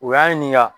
U y'an ɲininka